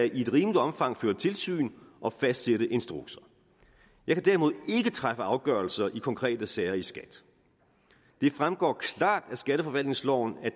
i et rimeligt omfang føre tilsyn og fastsætte instrukser jeg kan derimod ikke træffe afgørelser i konkrete sager i skat det fremgår klart af skatteforvaltningsloven at